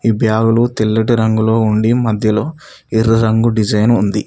ఈ బ్యాగు లు తెల్లటి రంగులో ఉండి మధ్యలో ఎర్ర రంగు డిజైన్ ఉంది.